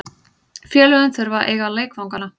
Félögin þurfa að eiga leikvangana.